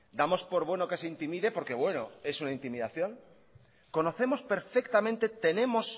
damos por bueno que se intimide porque bueno es una intimidación conocemos perfectamente tenemos